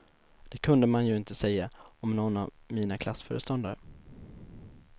Det kunde man ju inte säga om nån av mina klassföreståndare.